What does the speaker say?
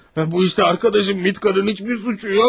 Bu işdə yoldaşım Mitkanın heç bir suçu yox.